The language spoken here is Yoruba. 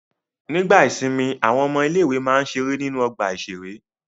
Nígbà ìsìnmi àwọn ọmọ ilé-ìwé máa ń ṣeré nínú ọgbà-ìṣeré.